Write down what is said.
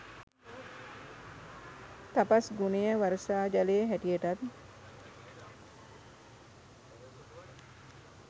තපස් ගුණය වර්ෂා ජලය හැටියටත්